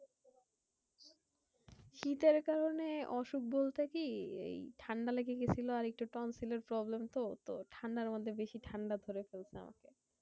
শীতের কারণে অসুখ বলতে কি? এই ঠান্ডা লেগে গেছিলো আর একটু tonsil এর problem তো। তো ঠান্ডার মধ্যে বেশি ঠান্ডা ধরে ফেলছে আমাকে।